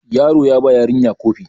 yaro ya ba yarinya Kofi